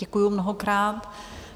Děkuji mnohokrát.